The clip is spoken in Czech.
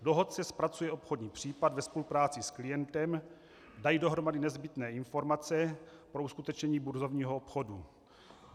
Dohodce zpracuje obchodní případ ve spolupráci s klientem, dají dohromady nezbytné informace pro uskutečnění burzovního obchodu.